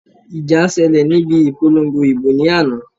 Ìjà ṣẹlẹ̀ níbi ìpolongo ìbò ní àná